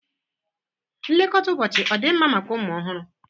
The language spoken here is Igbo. Nlekọta ụbọchị ọ dị mma maka ụmụ ọhụrụ?